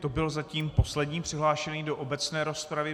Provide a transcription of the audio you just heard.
To byl zatím poslední přihlášený do obecné rozpravy.